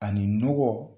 Ani nɔgɔ